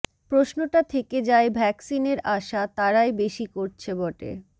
প্রশ্নটা থেকে যায় ভ্যাকসিনের আশা তারাই বেশি করছে বটে